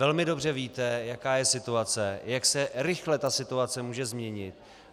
Velmi dobře víte, jaká je situace, jak se rychle ta situace může změnit.